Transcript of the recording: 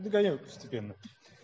загоняю постепенно